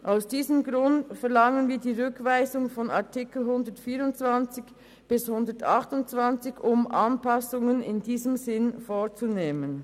Aus diesem Grund verlangen wir die Rückweisung der Artikel 124 bis 128, um Anpassungen in diesem Sinn vorzunehmen.